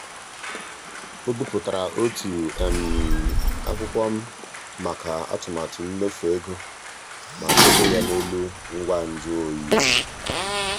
o bipụtara otu akwụkwọ maka atụmatụ mmefu ego ma debe ya n'elu ngwa njụ oyi.